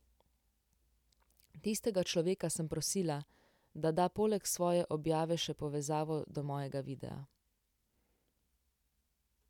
Tistega človeka sem prosila, da da poleg svoje objave še povezavo do mojega videa.